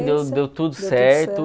deu tudo certo.